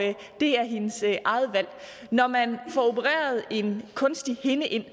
det er hendes eget valg når man får opereret en kunstig hinde ind